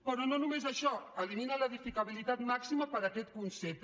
però no només això eliminen l’edificabilitat màxima per aquest concepte